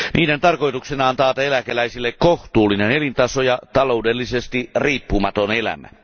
Niiden tarkoituksena on taata eläkeläisille kohtuullinen elintaso ja taloudellisesti riippumaton elämä.